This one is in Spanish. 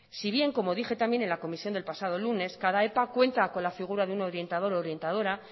si bien como dije también en la comisión del pasado lunes cada epa cuenta con la figura de un orientador u orientadora